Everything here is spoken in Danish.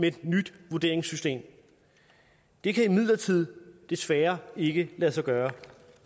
et nyt vurderingssystem det kan imidlertid desværre ikke lade sig gøre